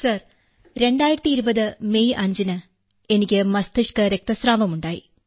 sir 2020 May 5ന് എനിക്ക് മസ്തിഷ്ക രക്തസ്രാവം ഉണ്ടായി